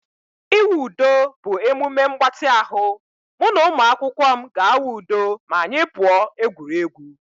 Ịwụ udo bụ emume mgbatị ahụ. Mụ na ụmụakwụkwọ m ga-awụ udo ma anyị pụọ egwuregwu